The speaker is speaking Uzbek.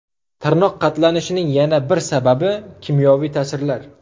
Tirnoqlar qatlanishining yana bir sababi – kimyoviy ta’sirlar.